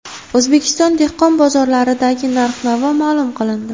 O‘zbekiston dehqon bozorlaridagi narx-navo ma’lum qilindi.